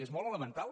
és molt elemental